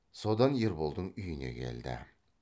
содан ерболдың үйіне келді